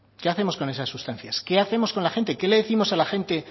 qué hacemos con esas sustancias qué hacemos con la gente qué le décimos a la gente